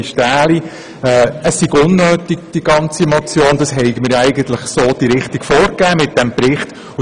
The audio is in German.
Die Motion sei unnötig, denn mit dem Bericht hätten wir ja diese Richtung eigentlich vorgegeben.